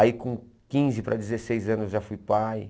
Aí com quinze para dezesseis anos eu já fui pai,